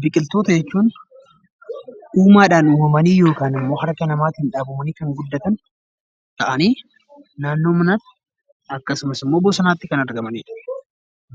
Biqiltoota jechuun uumaadhaan uumamanii yookan immoo harka namaatiin dhaabamanii kan guddatan ta'anii naannoo manaatti akkasumas immoo bosonatti kan argamanidha.